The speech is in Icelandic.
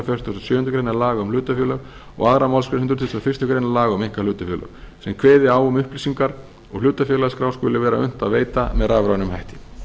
fertugasta og sjöundu grein laga um hlutafélög og annarri málsgrein hundrað tuttugasta og fyrstu grein laga um einkahlutafélög sem kveði á um að upplýsingar úr hlutafélagaskrá skuli vera unnt að veita með rafrænum hætti